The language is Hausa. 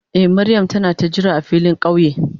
Eh Mariam ta na ka jira a filin kauye.